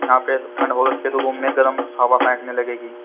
या पे टंड बहोत से लोगो में गर्म हवा फेकने लगेगी।